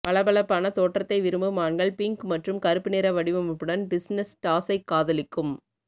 பளபளப்பான தோற்றத்தை விரும்பும் ஆண்கள் பிங்க் மற்றும் கருப்பு நிற வடிவமைப்புடன் பிசினெஸ் டாஸைக் காதலிக்கும்